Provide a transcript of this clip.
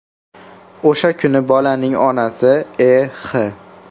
O‘sha kuni bolaning onasi E.X.